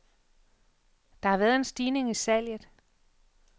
Der har været en stigning i salget.